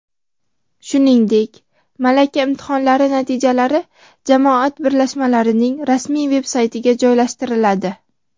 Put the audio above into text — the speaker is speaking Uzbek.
shuningdek malaka imtihonlari natijalari jamoat birlashmalarining rasmiy veb-saytiga joylashtiriladi.